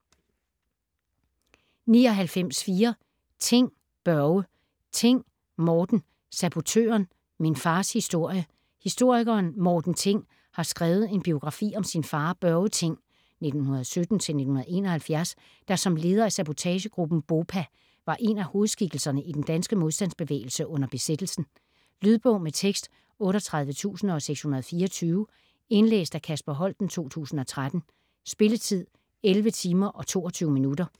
99.4 Thing, Børge Thing, Morten: Sabotøren: min fars historie Historikeren Morten Thing har skrevet en biografi om sin far Børge Thing (1917-1971), der som leder af sabotagegruppen BOPA var en af hovedskikkelserne i den danske modstandsbevægelse under besættelsen. Lydbog med tekst 38624 Indlæst af Kasper Holten, 2013. Spilletid: 11 timer, 22 minutter.